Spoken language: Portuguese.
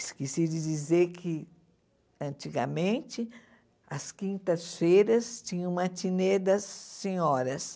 Esqueci de dizer que, antigamente, às quintas-feiras tinha o matinê das senhoras.